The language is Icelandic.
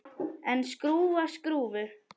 En skrúfa skrúfu?